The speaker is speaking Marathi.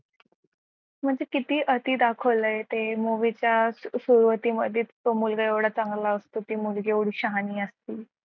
म्हणजे किती आती दाखवले ते movie च्या सुरुवातीमध्ये तो मुलगा एवढा चांगला असतो ती मुलगी एवढी शहानी असते